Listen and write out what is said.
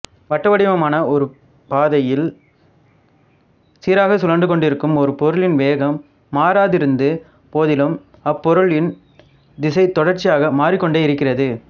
வட்டவடிவமான ஒருபதையில் சீராக சுழன்று கொண்டிருக்கும் ஒருபொருளின் வேகம் மாறாதிருந்த போதிலும் அப்பொருளின் திசைத் தொடர்ச்சியாக மாறிக்கொண்டே இருக்கிறது